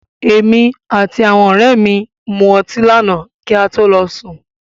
Èmi àti àwọn ọ̀rẹ́ mi mu ọti lànáà kí a to lọ sùn.